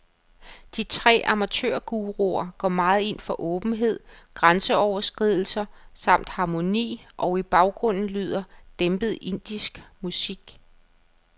De tre amatørguruer går meget ind for åbenhed, grænseoverskridelser samt harmoni, og i baggrunden lyder dæmpet indisk musik.